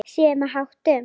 Siðum og háttum.